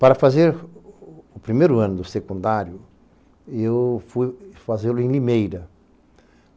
Para fazer o o o primeiro ano do secundário, eu fui fazê-lo em Limeira.